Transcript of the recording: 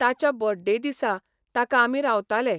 ताच्या बर्थडे दिसा ताका आमी रावताले.